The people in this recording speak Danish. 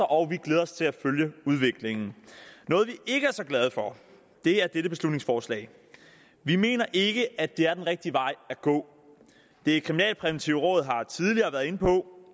og vi glæder os til at følge udviklingen noget vi ikke er så glade for er dette beslutningsforslag vi mener ikke at det er den rigtige vej at gå det kriminalpræventive råd har tidligere været inde på